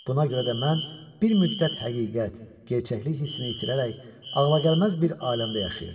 Buna görə də mən bir müddət həqiqət, gerçəklik hissini itirərək ağlagəlməz bir aləmdə yaşayırdım.